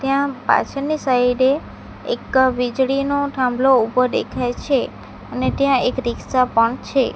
ત્યાં પાછળની સાઈડે એક વીજળીનો ઠાંભલો ઉભો ડેખાય છે અને ટ્યાં એક રીક્ષા પણ છે.